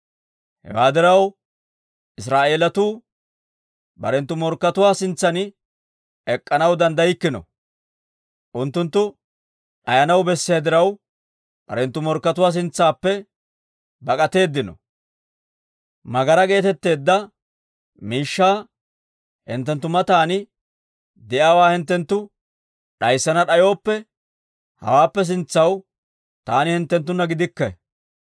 Hewaa diraw, Israa'eelatuu barenttu morkkatuwaa sintsan ek'k'anaw danddaykkino. Unttunttu d'ayanaw bessiyaa diraw, barenttu morkkatuwaa sintsaappe bak'atteedino. Tsiine geetetteedda miishshaa hinttenttu matan de'iyaawaa hinttenttu d'ayssana d'ayooppe, hawaappe sintsaw taani hinttenttunna gidikke.